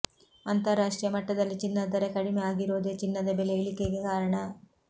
ಅಂತರಾಷ್ಟೀಯ ಮಟ್ಟದಲ್ಲಿ ಚಿನ್ನದ ದರ ಕಡಿಮೆ ಆಗಿರೋದೇ ಚಿನ್ನದ ಬೆಲೆ ಇಳಿಕೆಗೆ ಕಾರಣ